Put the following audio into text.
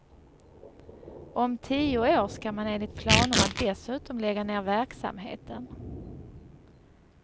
Om tio år ska man enligt planerna dessutom lägga ner verksamheten.